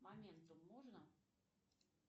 моментум можно